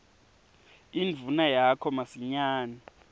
indvuna yakho masinyane